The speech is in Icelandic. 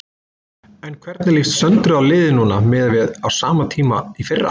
En hvernig líst Söndru á liðið núna miðað við á sama tíma í fyrra?